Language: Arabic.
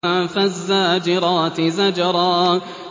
فَالزَّاجِرَاتِ زَجْرًا